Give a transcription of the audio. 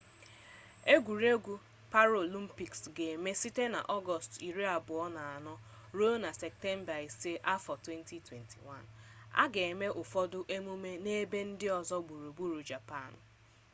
engwuregwu paralimpiks ga-eme site n'ọgọọst 24 ruo na septemba 5 2021 a ga-eme ụfọdụ emume n'ebe ndị ọzọ gburugburu japan